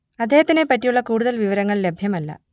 അദ്ദേഹത്തിനെ പറ്റിയുള്ള കൂടുതൽ വിവരങ്ങൾ ലഭ്യമല്ല